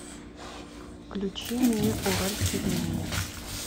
включи мне уральские пельмени